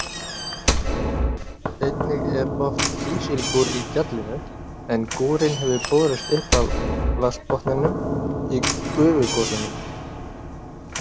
Einnig er oft kísilgúr í gjallinu en gúrinn hefur borist upp af vatnsbotninum í gufugosunum.